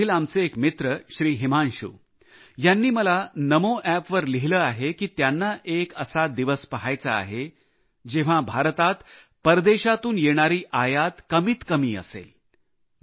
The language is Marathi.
बिहारमधील आमचे एक मित्र हिमांशु यांनी मला नमोअॅपवर लिहिले आहे की त्यांना एक असा दिवस पहायचा आहे जेव्हा भारतात परदेशातून येणारी आयात कमी असेल